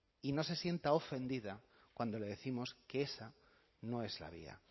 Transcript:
y no se sienta ofendida cuando le décimos que esa no es la vía